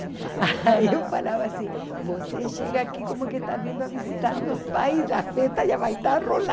Aí eu falava assim, você chega aqui como que está vindo a visitar meus pais, a festa já vai estar